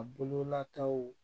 A bololataw